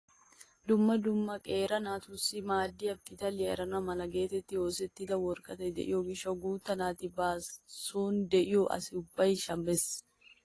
Dumma dumma qeeri naatussi maaddiyaa pitaliyaa erana mala getettidi oosettida woraqatati de'iyoo gishshawu guutta naati ba soni de'iyoo asa ubbay shammees!